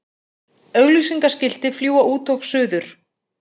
Auglýsingaskilti fljúga út og suður